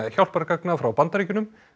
hjálpargagna frá Bandaríkjunum